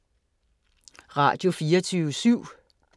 Radio24syv